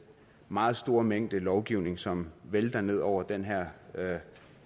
meget store mængde lovgivning som vælter ned over den her her